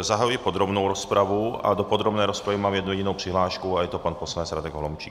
zahajuji podrobnou rozpravu a do podrobné rozpravy mám jednu jedinou přihlášku a je to pan poslanec Radek Holomčík.